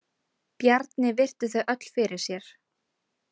Bjarni virti þau öll fyrir sér.